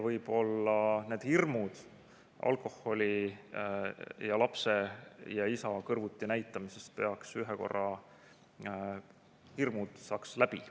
Võib-olla need hirmud alkoholi ja lapse ja isa kõrvuti näitamise ees saaks ühel korral läbi.